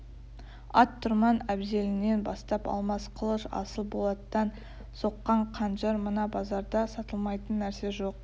аттұрман әбзелінен бастап алмас қылыш асыл болаттан соққан қанжар мына базарда сатылмайтын нәрсе жоқ